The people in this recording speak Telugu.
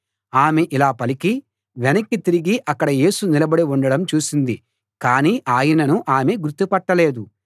ఆమె ఇలా పలికి వెనక్కి తిరిగి అక్కడ యేసు నిలబడి ఉండడం చూసింది కానీ ఆయనను ఆమె గుర్తు పట్టలేదు